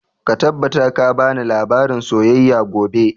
Ka tabbata ka bani labarin soyayya gobe!